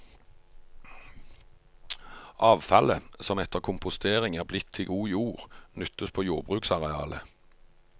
Avfallet, som etter kompostering er blitt til god jord, nyttes på jordbruksarealet.